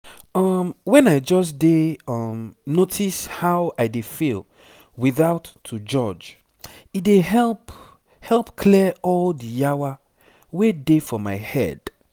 um when i just dey um notice how i dey feel without to judge e dey help help clear all the yawa wey dey for my head."